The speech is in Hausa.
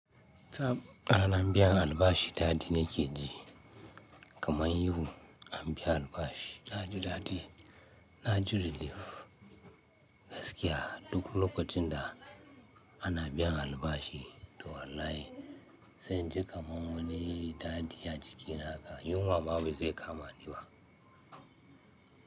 A rana biyan albashi, dadi na ke ji kamar yau, a biya albashi. Na ji dadi, na ji relief gaskiya duk lokacin da ana biyan albashi. To wallahi, sai inji kamar wani dadi a jiki naka. Yunwa ma ba zai kama ni ba.